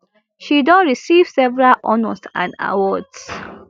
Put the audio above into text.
she don receive several honors and awards